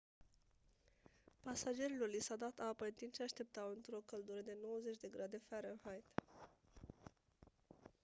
pasagerilor li s-a dat apă în timp ce așteptau într-o căldură de 90 de grade farenheit